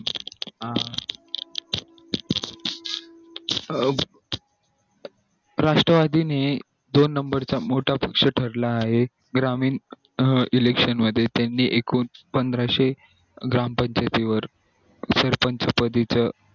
अं Rashtrawadi नि दोन number च्या क्षेत्रातला एक ग्रामीण election मध्ये त्यानी एकूण पंधराशे ग्रामपंचायती वर सरपंच पदी च